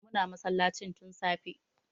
Muna masallacin tun safe